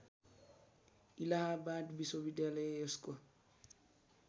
इलाहाबाद विश्वविद्यालय यसको